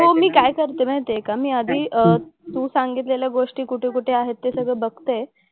हो मी काय करते माहिती आहे का मी आधी अह तू सांगितलेल्या गोष्टी कुठे कुठे आहेत ते सगळं बघते.